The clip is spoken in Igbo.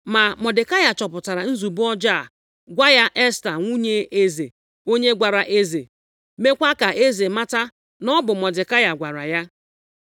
Ma Mọdekai chọpụtara nzube ọjọọ a gwa ya Esta, nwunye eze, onye gwara eze, meekwa ka eze mata na ọ bụ Mọdekai gwara ya.